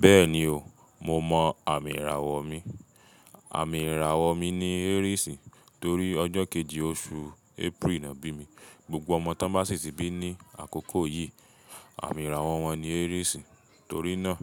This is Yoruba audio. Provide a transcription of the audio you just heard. Bẹ́ẹ̀ni o, mo mọ àmì ìràwọ̀ mi. Àmì ìràwọ̀ mi ni Aries torí ọjọ́ kejì oṣù April ni ọ bí mi. Gbogbo ọmọ tó bá sì tí bí ní àkókò yìí, àmì ìràwọ̀ wọn ni Aries. Torí náà,